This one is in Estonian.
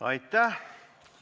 Aitäh!